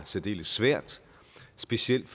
særdeles svært specielt